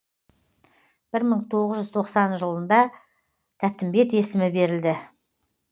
бір мың тоғыз жүз тоқсан жылында тәттімбет есімі берілді